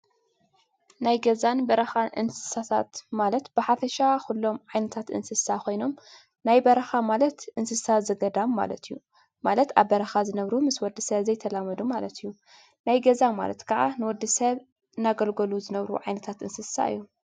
ናይ ገዛን በረካን እንሰሳታት ማለት ብሓፈሻ ኩሎም ዓይነታት እንሰሳ ኮይኖም ናይ በረካ ማለት እንሰሳ ዘገዳም ማለት እዩ። ማለት ኣብ በረካ ዝነብሩ ምስ ወድሰብ ዘይተላመዱ ማለት እዮም። ናይገዛ ማለት ከዓ ንወድሰብ እናገልገሉ ዝነብሩ ዓይነት እንሰሳ እዩ።